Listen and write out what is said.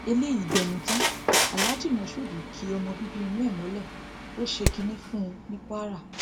eléyìí gbẹnu tán aláàjì mashood ki ọmọ bíbí inú ẹ mọlẹ ó ṣe kínní fún un ní kwara